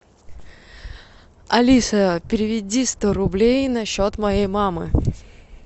алиса переведи сто рублей на счет моей мамы